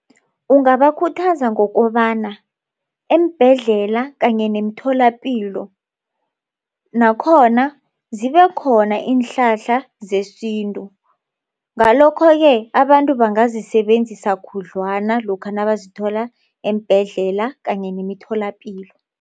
Ungabakhuthaza ngokobana eembhedlela kanye nemitholapilo nakhona zibekhona iinhlahla zesintu. Ngalokho-ke abantu bangazisebenzisa khudlwana lokha nazithola eembhedlela kanye nemitholapilo.